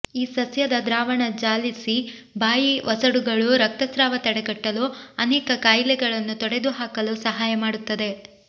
ಈ ಸಸ್ಯದ ದ್ರಾವಣ ಜಾಲಿಸಿ ಬಾಯಿ ಒಸಡುಗಳು ರಕ್ತಸ್ರಾವ ತಡೆಗಟ್ಟಲು ಅನೇಕ ಕಾಯಿಲೆಗಳನ್ನು ತೊಡೆದುಹಾಕಲು ಸಹಾಯ ಮಾಡುತ್ತದೆ